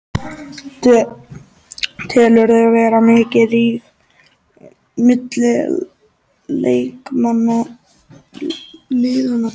Telurðu vera mikinn ríg milli leikmanna liðanna tveggja?